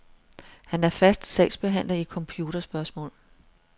Han er fast sagsbehandler i computerspørgsmål.